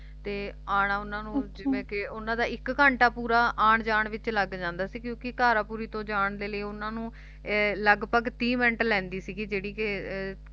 ਤੇ ਆਉਣਾ ਉਨ੍ਹਾਂ ਨੂੰ ਜਿਵੇਂ ਕਿ ਉਨ੍ਹਾਂ ਦਾ ਇੱਕ ਘੰਟਾ ਪੂਰਾ ਆਉਣ ਜਾਣ ਵਿਚ ਲੱਗ ਜਾਂਦਾ ਸੀ ਕਿਉਂਕਿ ਘਾਰਪੂਰੀ ਤੋਂ ਜਾਣ ਦੇ ਲਈ ਉਨ੍ਹਾਂ ਨੂੰ ਏ ਲਗਭਗ ਤੀਹ ਮਿੰਟ ਲੈਂਦੀ ਸੀ ਜਿਹੜੀ ਕਿ ਅਹ